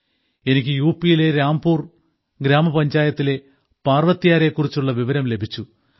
എനിക്ക് യു പിയിലെ രാംപുർ ഗ്രാമപഞ്ചായത്തിലെ പാർവത്ത്യാരെ കുറിച്ചുള്ള വിവരം ലഭിച്ചു